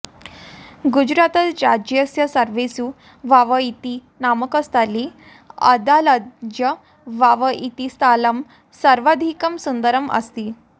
गुजरातराज्यस्य सर्वेषु वाव इति नामकस्थले अडालज वाव इति स्थलं सर्वाधिकं सुन्दरम् अस्ति